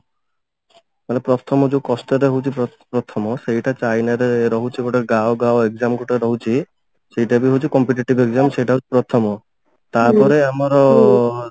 ମାନେ ପ୍ରଥମ ଯଉ କଷ୍ଟଟା ହଉଛି ପ୍ର ପ୍ରଥମ ସେଇଟା ଚାଇନାରେ ରହୁଛି ଗୋଟେ ଗାଓ ଗାଓ exam ଗୋଟେ ରହୁଛି ସେଇଟା ବି ହଉଛି competitive exam ସେଟା ହଉଛି ପ୍ରଥମ ତାପରେ ଆମର